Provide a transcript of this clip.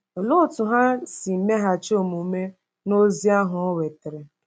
Olee otú ha si meghachi omume n’ozi ahụ o wetara?